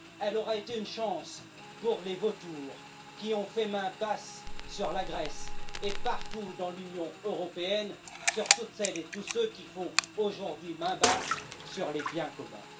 elle aura été une chance pour les vautours qui ont fait main basse sur la Grèce et, partout dans l'Union européenne, pour toutes celles et tous ceux qui font aujourd'hui main basse sur les biens communs.